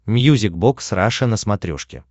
мьюзик бокс раша на смотрешке